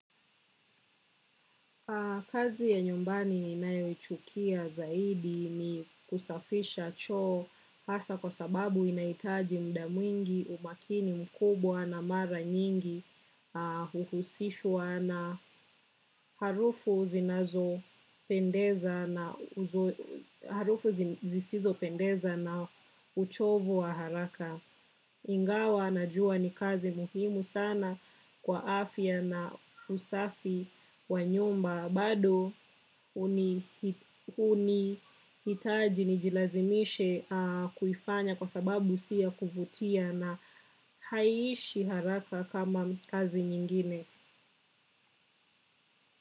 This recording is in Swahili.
Kazi ya nyumbani ninayoichukia zaidi ni kusafisha cho hasa kwa sababu inahitaji muda mwingi, umakini mkubwa na mara nyingi huhusishwa na harufu zisizopendeza na uchovu wa haraka. Ingawa najua ni kazi muhimu sana kwa afya na usafi wa nyumba, bado hunihitaji nijilazimishe kuifanya kwa sababu si ya kuvutia na haiishi haraka kama kazi nyingine.